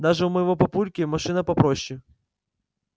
даже у моего папульки машина попроще